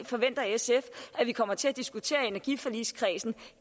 forventer sf at vi kommer til at diskutere i energiforligskredsen